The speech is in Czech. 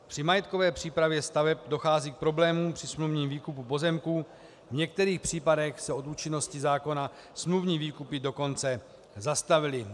Při majetkové přípravě staveb dochází k problémům při smluvním výkupu pozemků, v některých případech se od účinnosti zákona smluvní výkupy dokonce zastavily.